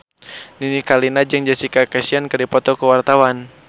Nini Carlina jeung Jessica Chastain keur dipoto ku wartawan